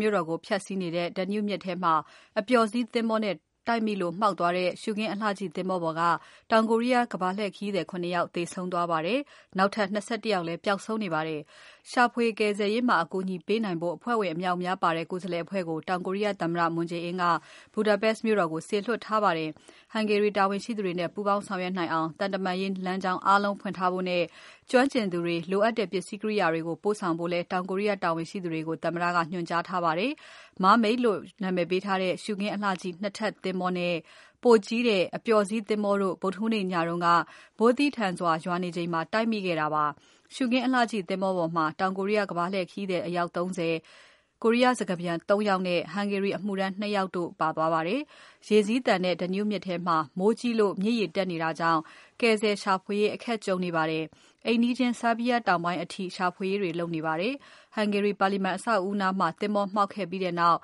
မြို့တော်ကို ဖြတ်စီးနေတဲ့ Danube မြစ်ထဲမှာ အပျော်စီးသင်္ဘောနဲ့ တိုက်မိလို့မှောက်သွားတဲ့ ရှုခင်းအလှကြည့်သင်္ဘောပေါ်က တောင်ကိုရီးယား ကမ္ဘာလှည့်ခရီးသည် ၇ ယောက်သေဆုံးသွားပါတယ်။ နောက်ထပ် ၂၁ ယောက်လည်း ပျောက်ဆုံးနေပါတယ်။ ရှာဖွေကယ်ဆယ်ရေးမှာ အကူအညီပေးနိုင်ဖို့ အဖွဲ့ဝင်အမြောက်အများပါတဲ့ ကိုယ်စားလှယ်အဖွဲ့ကို တောင်ကိုရီးယားသမ္မတ Moon Jae-in က Budapest မြို့တော်ကို စေလွှတ်ထားပါတယ်။ Hungary တာဝန်ရှိသူတွေနဲ့ ပုူးပေါင်းဆောင်ရွက်နိုင်အောင် သံတမန်ရေးလမ်းကြောင်း အားလုံးကို ဖွင့်ထားဖို့နဲ့ ကျွမ်းကျင်သူတွေ၊ လိုအပ်တဲ့ပစ္စည်းကိရိယာတွေကို ပို့ဆောင်ဖို့လည်း တောင်ကိုရီးယား တာဝန်ရှိသူတွေကို သမ္မတက ညွှန်ကြားထားပါတယ်။ Mermaid လို့ နာမည်ပေးထားတဲ့ ရှုခင်းအလှကြည့် ၂ ထပ်သင်္ဘောနဲ့ ပိုကြီးတဲ့ အပျော်စီးသင်္ဘောတို့ ဗုဒ္ဓဟူးနေ့ညက မိုးသည်းထန်စွာ ရွာနေချိန်မှာ တိုက်မိခဲ့တာပါ။ ရှုခင်းအလှကြည့်သင်္ဘောပေါ်မှာ တောင်ကိုရီးယားကမ္ဘာလှည့်ခရီးသည် အယောက် ၃၀၊ ကိုရီးယားစကားပြန် ၃ ယောက်နဲ့ Hungary အမှုထမ်း ၂ ယောက်တို့လိုက်ပါလာတာပါ။ ရေစီးသန်တဲ့ Danube မြစ်ထဲမှာ မိုကြီးလို့ မြစ်ရေ တက်နေတာကြောင့် ကယ်ဆယ်ရှာဖွေရေးအခက်အခဲကြုံနေပါတယ်။ နိုင်ငံတောင်ပိုင်း အိမ်နီးချင်း Serbia နိုင်ငံထဲအထိ ရှာဖွေရေးတွေ လုပ်နေပါတယ်။ Hungary ပါလီမာန် အဆောက်အဦးနားမှာ သင်္ဘောမှောက်ခဲ့ပြီးနောက်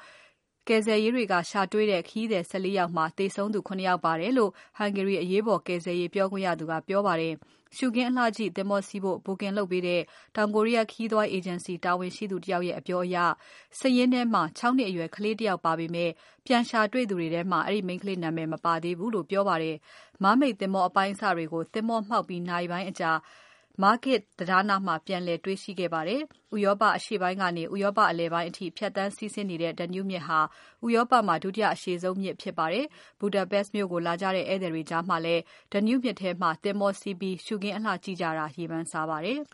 ကယ်ဆယ်ရေးက ရှာတွေ့တဲ့ ခရီးသည် ၁၄ ယောက်မှာ သေဆုံးသူ ၇ ယောက် ပါတယ်လို့ Hungary အရေးပေါ်ကယ်ဆယ်ရေး ပြောခွင့်ရသူက ပြောပါတယ်။ ရှုခင်းအလှကြည့်သင်္ဘောစီးဖို့ Booking လုပ်ပေးတဲ့ တောင်ကိုရီးယားခရီးသွား အေဂျင်စီတာဝန်ရှိသူတယောက်ရဲ့ အပြောအရ စာရင်းထဲမှာ ၆ နှစ်အရွယ် ကလေးတယောက်ပါပေမဲ့ ပြန်ရှာတွေ့သူတွေထဲမှာ ဒီမိန်းကလေးနာမည် မပါသေးဘူးလို့ပြောပါတယ်။ Mermaid သင်္ဘော အပိုင်းအစတွေကို သင်္ဘောမှောက်ပြီး နာရီပိုင်းအကြာ Margit တံတားနားမှာ ပြန်လည်တွေ့ရှိခဲ့ပါတယ်။ ဥရောပအရှေ့ပိုင်းကနေ ဥရောပအလယ်ပိုင်းအထိ ဖြတ်သန်းစီးဆင်းတဲ့ Danube မြစ်ဟာ ဥရောပမှာ ဒုတိယ အရှည်ဆုံးမြစ်ဖြစ်ပါတယ်။ Budapest မြို့ကိုလာကြတဲ့ ဧည့်သည်တွေကြားမှာလည်း Danube မြစ်ထဲမှာသင်္ဘောစီးပြီး ရှုခင်းအလှကြည့်ကြတာ ရေပန်းစားပါတယ်။